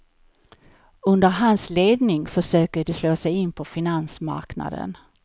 Under hans ledning försöker de slå sig in på finansmarknaden.